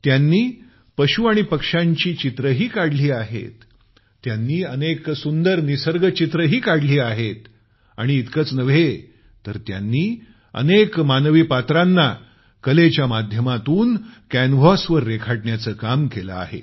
त्यांनी पशु आणि पक्ष्यांची चित्रंही काढली आहेत त्यांनी अनेक सुंदर निसर्गचित्रंही काढली आहेत आणि इतकच नव्हे तर त्यांनी अनेक मानवी पात्रांना कलेच्या माध्यमातून कॅनव्हासवर रेखाटण्याचं काम केलं आहे